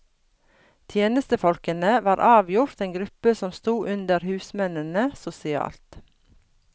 Tjenestefolkene var avgjort en gruppe som stod under husmennene sosialt.